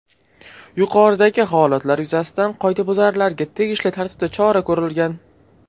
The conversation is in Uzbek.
Yuqoridagi holatlar yuzasidan qoidabuzarlarga tegishli tartibda chora ko‘rilgan.